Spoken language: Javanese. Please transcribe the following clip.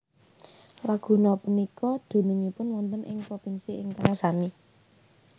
Laguna punika dunungipun wonten ing propinsi ingkang sami